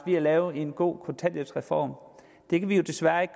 at lave en god kontanthjælpsreform er jo desværre ikke